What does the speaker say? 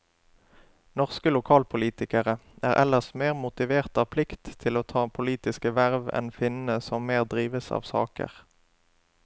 Norske lokalpolitikere er ellers mer motivert av plikt til å ta politiske verv enn finnene som mer drives av saker.